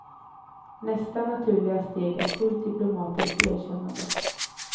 Nästa naturliga steg är fullt diplomatiskt erkännande.